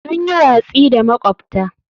Sun yi watsi da makwabta.